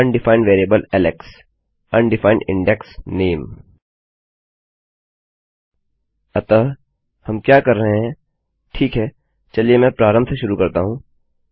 undefined variable Alex undefined index name अतः हम क्या कर रहे हैं ठीक है चलिए मैं प्रारंभ से शुरू करता हूँ